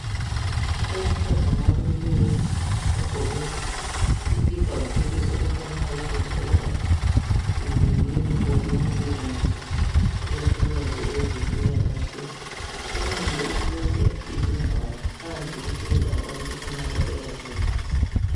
Owesifazana omileyo ogqoke isikipa lekepesi okufananayo okutshengisa ukuba yiyunifomu yomsebenzi ikakhulukazi okwezempilakahle umile uthwele izingwalo, phansi kuhlezi abantu okukhanya ukuba uyabafundisa.